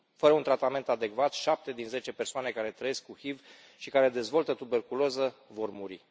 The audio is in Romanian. Fără un tratament adecvat, șapte din zece persoane care trăiesc cu HIV și care dezvoltă tuberculoză vor muri.